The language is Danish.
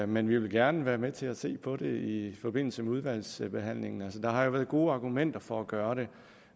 men vi vil gerne være med til at se på det i forbindelse med udvalgsbehandlingen der har været gode argumenter for at gøre det